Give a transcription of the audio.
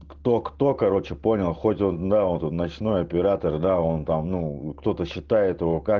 кто кто короче понял хоть он работает ночной оператор да он там ну кто-то считает его как